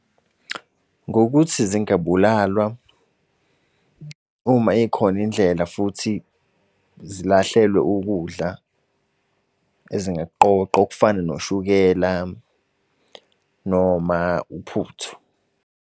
Ngokuthi zingabulalwa. Uma ikhona indlela futhi zilahlwe ukudla ezingakuqoqa okufana noshukela noma uphuthu.